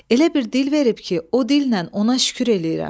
Elə bir dil verib ki, o dillə ona şükür eləyirəm.